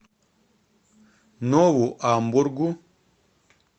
нову амбургу